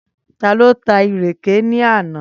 Taló ta ìrèkè ní àná?